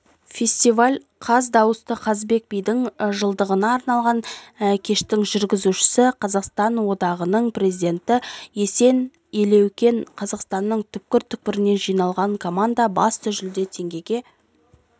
фестиваль қаз дауысты қазыбек бидің жылдығына арналған кештің жүргізушісі қазақстан одағының президенті есен елеукен қазақстанның түпкір-түпкірінен жиналған команда басты жүлде теңгеге